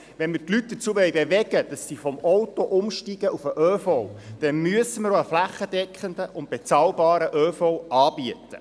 Wenn wir die Leute dazu bewegen wollen, vom Auto auf den ÖV umsteigen, müssen wir einen flächendeckenden und bezahlbaren ÖV anbieten.